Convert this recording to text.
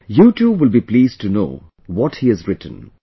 You too will be pleased to know what he has written